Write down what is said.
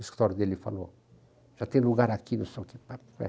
O escritório dele falou, já tem lugar aqui,